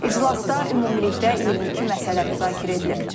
İclasda ümumilikdə 22 məsələ müzakirə edilib.